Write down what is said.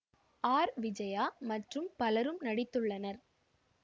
R Vijaya மற்றும் பலரும் நடித்துள்ளனர்